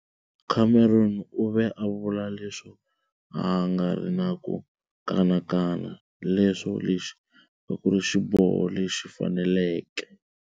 Cameron u ve a vula leswo a a nga ri na ku"kanakana" leswo lexi a ku ri xiboho lexi faneleke.